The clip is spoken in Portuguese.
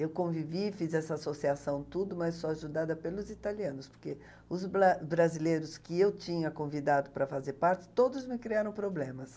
Eu convivi, fiz essa associação, tudo, mas só ajudada pelos italianos, porque os bla brasileiros que eu tinha convidado para fazer parte, todos me criaram problemas.